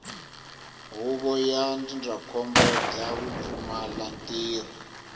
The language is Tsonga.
huvo ya ndzindzakhombo bya vupfumalantirho